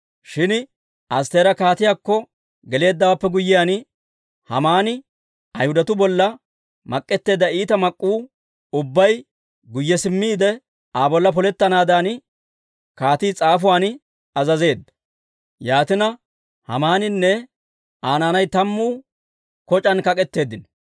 Shin Astteera kaatiyaakko geleeddawaappe guyyiyaan, Haamani Ayhudatuu bolla mak'etteedda iita mak'k'uu ubbay guyye simmiide, Aa bolla polettanaadan kaatii s'aafuwaan azazeedda. Yaatina, Haamaaninne Aa naanay tammuu koc'aan kak'etteeddino.